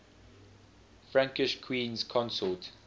frankish queens consort